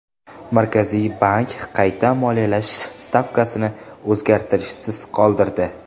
Markaziy bank qayta moliyalash stavkasini o‘zgarishsiz qoldirdi.